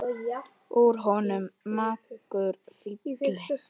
Úr honum margur fylli fær.